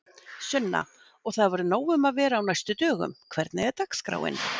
Sunna: Og það verður nóg um að vera á næstu dögum, hvernig er dagskráin?